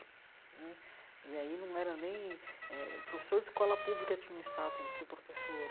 Né e aí não era nem... eh professor de escola pública tinha o status de ser professor.